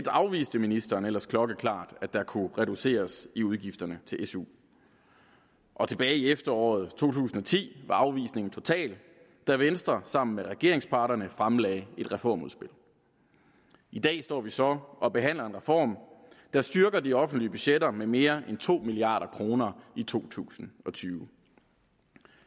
afviste ministeren ellers klokkeklart at der kunne reduceres i udgifterne til su og tilbage i efteråret to tusind og ti var afvisningen total da venstre sammen med vores regeringspartnere fremlagde et reformudspil i dag står vi så og behandler en reform der styrker de offentlige budgetter med mere end to milliard kroner i to tusind og tyve